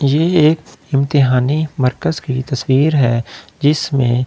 ये एक इम्तिहानी मर्कस की तस्‍वीर है जिसमें उम्‍मीदवार --